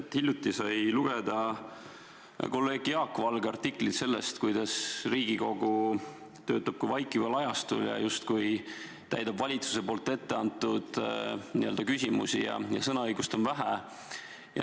Hiljuti sai lugeda kolleeg Jaak Valge artiklit sellest, kuidas Riigikogu töötab kui vaikival ajastul ja justkui täidab valitsuse ette antud ülesandeid ja sõnaõigust on vähe.